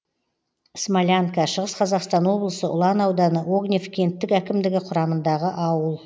смолянка шығыс қазақстан облысы ұлан ауданы огнев кенттік әкімдігі құрамындағы ауыл